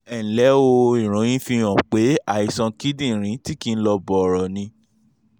ẹ ǹlẹ́ o ìròyìn fihàn pé àìsàn kíndìnrín tí kì í lọ bọ̀rọ̀ ni